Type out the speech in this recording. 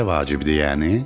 Bu elə vacibdir, yəni?